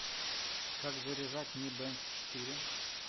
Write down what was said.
как заряжать ми бенд четыре